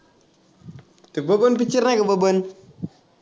ते बबन picture माही का बबन.